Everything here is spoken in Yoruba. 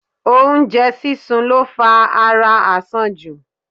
Oú́njẹ sísun lo fa ara àsanjù.